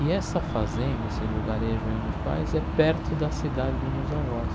E essa fazenda, esse lugarejo aí onde faz é perto da cidade dos meus avós.